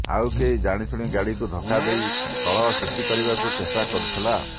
ଆଉ କେହି ଜାଣିଶୁଣି ଗାଡ଼ିକୁ ଧକ୍କା ଦେଇ କଳହ ସୃଷ୍ଟି କରିବାକ ଚେଷ୍ଟା କରୁଥିଲା